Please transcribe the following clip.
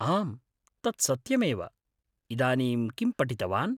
आम्, तत् सत्यमेव; इदानीं किं पठितवान्?